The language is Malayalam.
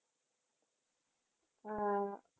ആ